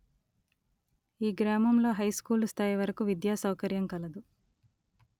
ఈ గ్రామంలో హైస్కూలు స్థాయి వరకు విద్యా సౌకర్యం కలదు